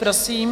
Prosím.